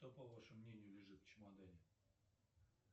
что по вашему мнению лежит в чемодане